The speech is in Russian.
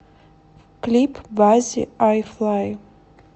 клип баззи ай ф л ай